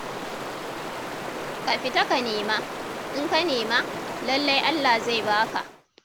Ka fita ka nema, in ka nema, lallai Allah zai ba ka.